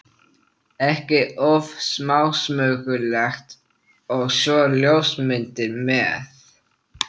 ekki of smásmugulegt- og svo ljósmyndir með.